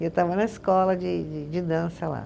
E eu estava na escola de de de dança lá.